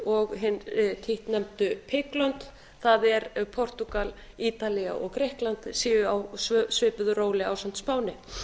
og hin títtnefndu bug lönd það er að portúgal ítalía og grikkland séu á svipuðu róli ásamt spáni